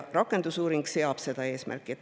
Rakendusuuring selle eesmärgi seab.